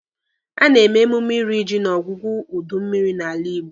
A na-eme emume iri ji n'ọgwụgwụ udu mmịrị n'ala Igbo